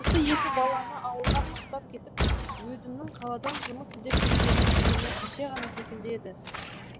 осы екі баланы ауылға тастап кетіп өзімнің қаладан жұмыс іздеп кеткенім күні кеше ғана секілді еді